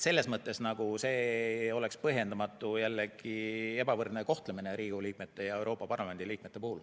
See oleks põhjendamatu ja jällegi ebavõrdne kohtlemine Riigikogu liikmete ning Euroopa Parlamendi liikmete puhul.